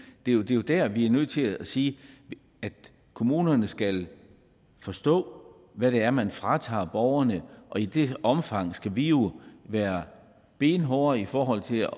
det er jo der vi er nødt til at sige at kommunerne skal forstå hvad det er man fratager borgerne og i det omfang skal vi jo være benhårde i forhold til at